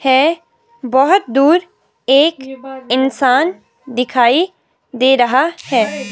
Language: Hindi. है बहुत दूर एक इंसान दिखाई दे रहा है।